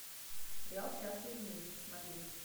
сериал счастливы вместе смотреть